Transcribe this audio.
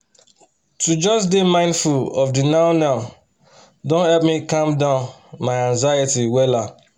to just dey mindful of de now-now don help me calm down my anxiety wella